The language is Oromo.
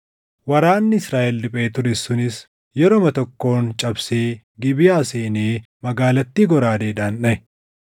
Waraanni Israaʼel riphee ture sunis yeruma tokkoon cabsee Gibeʼaa seenee magaalattii goraadeedhaan dhaʼe.